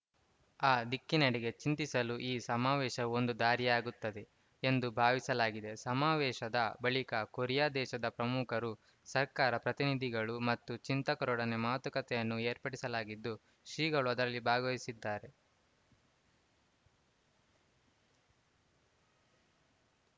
ಆ ದಿಕ್ಕಿನೆಡೆಗೆ ಚಿಂತಿಸಲು ಈ ಸಮಾವೇಶವು ಒಂದು ದಾರಿಯಾಗುತ್ತದೆ ಎಂದು ಭಾವಿಸಲಾಗಿದೆ ಸಮಾವೇಶದ ಬಳಿಕ ಕೊರಿಯಾ ದೇಶದ ಪ್ರಮುಖರು ಸರ್ಕಾರ ಪ್ರತಿನಿಧಿಗಳು ಮತ್ತು ಚಿಂತಕರೊಡನೆ ಮಾತುಕತೆಯನ್ನೂ ಏರ್ಪಡಿಸಲಾಗಿದ್ದು ಶ್ರೀಗಳು ಅದರಲ್ಲಿ ಭಾಗವಹಿಸಿದ್ದಾರೆ